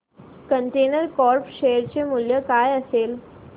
container corp share चे मूल्य काय असेल